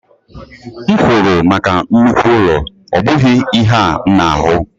M kwụrụ maka nnukwu ụlọ, ọ bụghị ihe a m na-ahụ